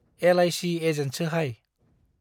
L I C एजेन्टसोहाय ।